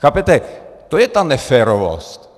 Chápete, to je ta neférovost.